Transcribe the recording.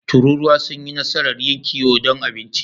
Tururuwa sun yi nasarar yin kiwo don abinci.